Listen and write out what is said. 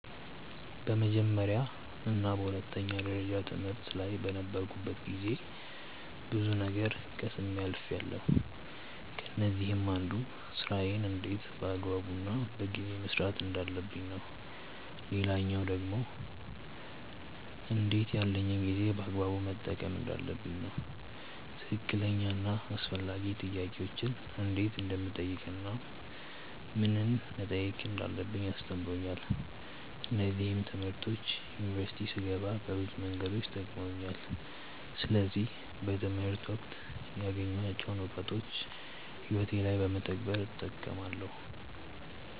በመጀመርያ እና በሁለተኛ ደረጃ ትምህርት ላይ በነበርኩበት ጊዜ ብዙ ነገር ቀስሜ አልፍያለው። ከነዚህም አንዱ ስራዬን እንዴት በአግባቡ እና በጊዜ መስራት እንዳለብኝ ነው። ሌላኛው ደግሞ እንዴት ያለኝን ጊዜ በአግባቡ መጠቀም እንዳለብኝ ነው። ትክክለኛ እና አስፈላጊ ጥያቄዎችን እንዴት እንደምጠይቅ እናም ምንን መጠየቅ እንዳለብኝ አስተምሮኛል። እነዚህም ትምህርቶች ዩኒቨርሲቲ ስገባ በብዙ መንገዶች ጠቅመውኛል። ስለዚህ በትምህርት ወቅት ያገኘኋቸውን እውቀቶች ህይወቴ ላይ በመተግበር እጠቀማለው።